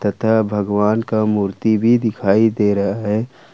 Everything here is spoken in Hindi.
लगता है भगवान का मूर्ति भी दिखाई दे रहा है।